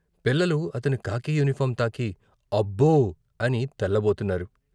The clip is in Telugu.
పిల్లలు అతని కాకీ యూనిఫారం తాకి అబ్బో అని తెల్లబోతున్నారు.